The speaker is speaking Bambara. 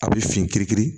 A bɛ fin kiri kiri